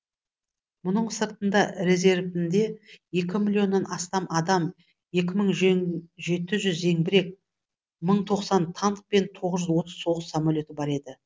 мұның сыртында резервінде екі миллионнан астам адам екі мың жеті жүз зеңбірек мың тоқсан танк пен тоғыз жүз отыз соғыс самолеті бар еді